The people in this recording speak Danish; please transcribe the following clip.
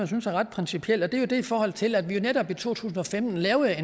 synes er ret principielt og det er i forhold til at vi netop i to tusind og femten lavede